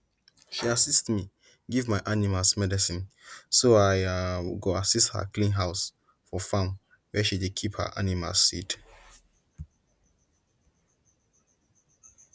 she assist me give my animals medicine so i um go assist her clean house for farm where she dey keep her animals seeds